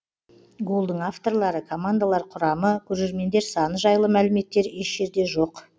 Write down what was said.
голдың авторлары командалар құрамы көрермендер саны жайлы мәліметтер еш жерде жоқ